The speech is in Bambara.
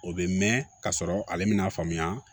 O bɛ mɛn ka sɔrɔ ale mɛna faamuya